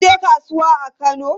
Kun je kasuwa a Kano?